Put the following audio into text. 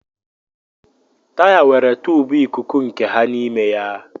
Taya nwere tùbù ikuku nke ha n'ime ya